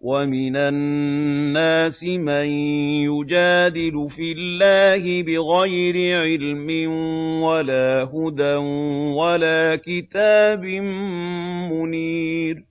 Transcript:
وَمِنَ النَّاسِ مَن يُجَادِلُ فِي اللَّهِ بِغَيْرِ عِلْمٍ وَلَا هُدًى وَلَا كِتَابٍ مُّنِيرٍ